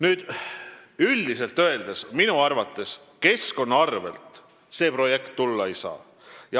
Keskkonna arvel see projekt minu arvates tulla ei saa.